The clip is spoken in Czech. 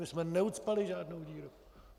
My jsme neucpali žádnou díru.